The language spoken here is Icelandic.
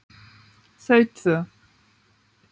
Þau tvö.